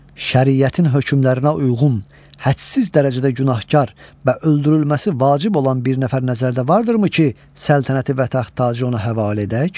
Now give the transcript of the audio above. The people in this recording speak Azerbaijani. Şəriətin hökmlərinə uyğun, hədsiz dərəcədə günahkar və öldürülməsi vacib olan bir nəfər nəzərdə vardırımı ki, səltənəti və taxt-tacı ona həvalə edək?